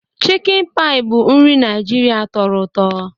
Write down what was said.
Chicken Pie bụ nri Naijiria tọrọ ụtọ.